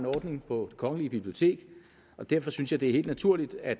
ordning på det kongelige bibliotek og derfor synes jeg det er helt naturligt at